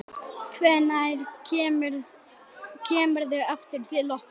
Hvenær kemurðu aftur til okkar?